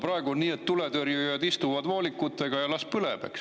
Praegu on nii, et tuletõrjujad istuvad voolikutega ja las põleb.